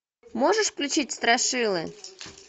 можешь включить страшилы